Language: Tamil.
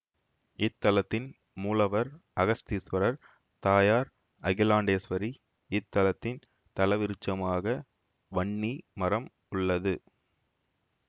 இத்தலத்தின் மூலவர் அகஸ்தீஸ்வரர் தாயார் அகிலாண்டேஸ்வரி இத்தலத்தின் தலவிருட்சமாக வன்னி மரம் உள்ளது